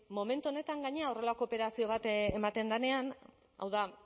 momentu honetan gainera horrelako operazio bat ematen denean hau da